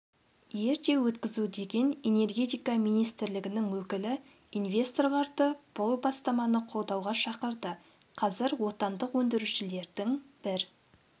ерте өткізу деген энергетика министрлігінің өкілі инвесторларды бұл бастаманы қолдауға шақырды қазір отандық өндірушілердің бір